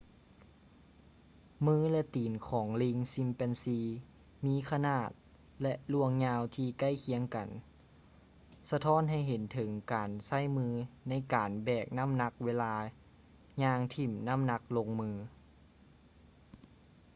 ມື ແລະ ຕີນຂອງລີງຊີມແປນຊີ chimpanzee ມີຂະໜາດ ແລະ ລວງຍາວທີ່ໃກ້ຄຽງກັນ ສະທ້ອນໃຫ້ເຫັນເຖິງການໃຊ້ມືໃນການແບກນ້ຳໜັກເວລາຍ່າງຖິ້ມນ້ຳໜັກລົງມື